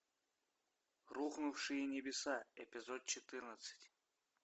рухнувшие небеса эпизод четырнадцать